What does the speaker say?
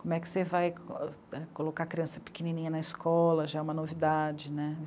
Como é que você vai colocar a criança pequenininha na escola, já é uma novidade, né?